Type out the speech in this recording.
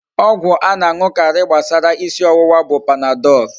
Ọgwụ a na aṅukarị gbasara isi ọwụwa bụ Panadol.